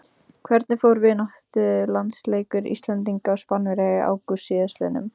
Hvernig fór vináttulandsleikur Íslendinga og Spánverja í ágúst síðastliðnum?